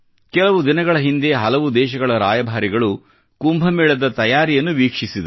ಕೆಲವು ದಿನಗಳ ಹಿಂದೆ ಹಲವು ದೇಶಗಳ ರಾಯಭಾರಿಗಳು ಕುಂಭಮೇಳದ ತಯಾರಿಯನ್ನು ವೀಕ್ಷಿಸಿದರು